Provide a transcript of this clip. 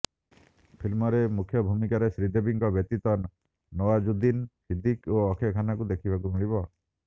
film ମମ୍ରେ ମୁଖ୍ୟ ଭୂମିକାରେ ଶ୍ରୀଦେବୀଙ୍କ ବ୍ୟତୀତ ନୱାଜୁଦ୍ଦିନ୍ ସିଦ୍ଦିକ୍ ଓ ଅକ୍ଷୟ ଖାନ୍ନାଙ୍କୁ ଦେଖିବାକୁ ମିଳିବ